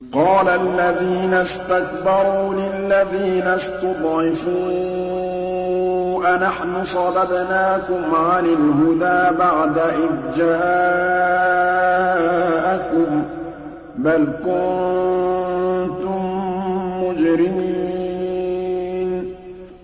قَالَ الَّذِينَ اسْتَكْبَرُوا لِلَّذِينَ اسْتُضْعِفُوا أَنَحْنُ صَدَدْنَاكُمْ عَنِ الْهُدَىٰ بَعْدَ إِذْ جَاءَكُم ۖ بَلْ كُنتُم مُّجْرِمِينَ